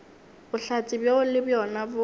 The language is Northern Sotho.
bohlatse bjoo le bjona bo